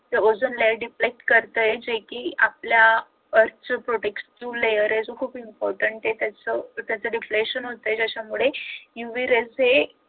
ozone layer deflect करतय जे कि आपल्या earth च protection जो layer आहे तो खूप important आहे त्याच त्याच reflection होतंय त्याच्यामुळे